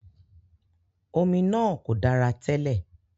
Omi náà kò dára tẹ́lẹ̀.